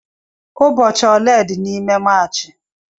Ụbọchị ole dị n'ime Maachị?